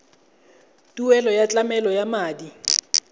tuelo ya tlamelo ya madi